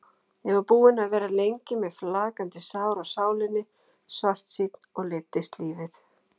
Ég var búinn að vera lengi með flakandi sár á sálinni, svartsýnn og leiddist lífið.